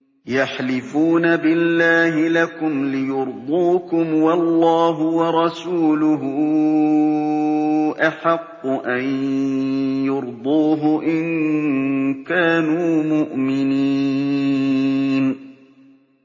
يَحْلِفُونَ بِاللَّهِ لَكُمْ لِيُرْضُوكُمْ وَاللَّهُ وَرَسُولُهُ أَحَقُّ أَن يُرْضُوهُ إِن كَانُوا مُؤْمِنِينَ